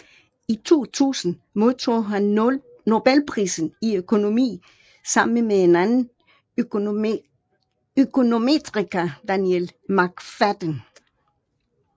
I 2000 modtog han Nobelprisen i økonomi sammen med en anden økonometriker Daniel McFadden